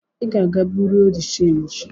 I ga-aga buro de chanji!